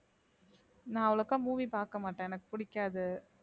நான் அவ்வளக்கா movie பார்க்க மாட்டேன் எனக்கு பிடிக்காது